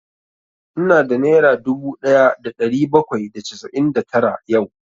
Ina da nera dubu ɗaya da ɗari bakwai da casa'in da tara yau